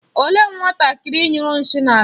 Olee nwatakịrị nyụrụ nshị na-ala?